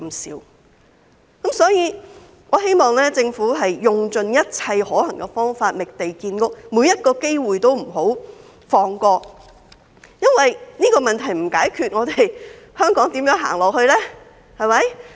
所以，我希望政府用盡一切可行方法覓地建屋，每個機會都不要放過，因為這個問題不解決，香港又如何走下去呢？